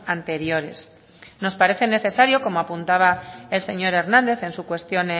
anteriores nos parece necesario como apuntaba el señor hernández en su cuestión